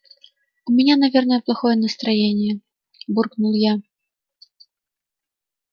у меня наверное плохое настроение буркнул я